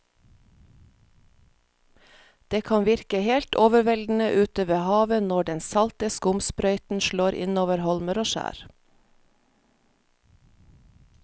Det kan virke helt overveldende ute ved havet når den salte skumsprøyten slår innover holmer og skjær.